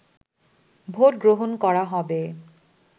vote গ্রহণ করা হবে